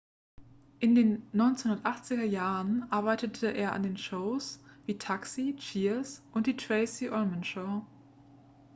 in den 1980er jahren arbeitete er an shows wie taxi cheers und die tracey ullman show